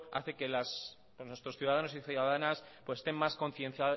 hace que nuestros ciudadanos y ciudadanas estén más